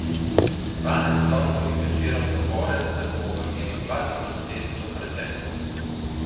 Dvanajst torkovih večerov zapored se bomo vrnili dva tisoč let v preteklost.